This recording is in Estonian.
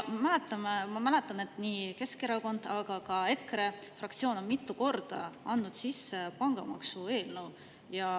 Ma mäletan, et Keskerakond, aga ka EKRE fraktsioon on mitu korda sisse andnud pangamaksu eelnõu.